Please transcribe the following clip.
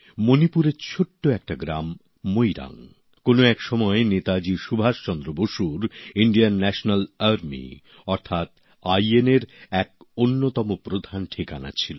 মণিপুরের ছোট একটা গ্রাম মোইরাং কোনও এক সময় নেতাজি সুভাষচন্দ্র বসুর আজাদ হিন্দ বাহিনী অর্থাৎ আইএনএর এক অন্যতম প্রধান ঠিকানা ছিল